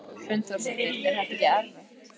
Hrund Þórsdóttir: Er þetta ekkert erfitt?